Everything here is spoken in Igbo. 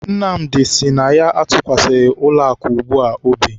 Nnamdi sị na ya atụkwasịghị ụlọakụ ugbua obi.